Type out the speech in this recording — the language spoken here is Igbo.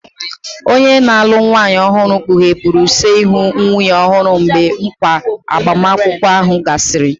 Onye na-alụ nwanyị ọhụrụ kpughepụrụ use ihu nwunye ọhụrụ mgbe nkwa agbamakwụkwọ ahụ gasịrị.